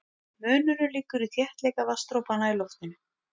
Munurinn liggur í þéttleika vatnsdropanna í loftinu.